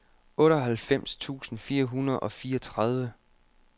otteoghalvfems tusind fire hundrede og fireogtredive